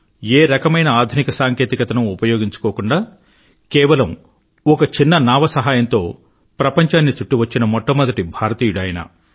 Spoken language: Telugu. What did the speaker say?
ఏ రకమైన ఆధునిక సాంకేతికతనూ ఉపయోగించుకోకుండా కేవలం ఒక చిన్న నావ సహాయంతో ప్రపంచాన్ని చుట్టివచ్చిన మొట్టమొదటి భారతీయుడు ఆయన